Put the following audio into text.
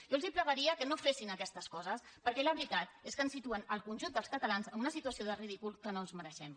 jo els pregaria que no fessin aquestes coses perquè la veritat és que ens situen el conjunt dels catalans en una situació de ridícul que no ens mereixem